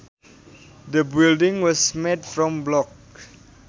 The building was made from blocks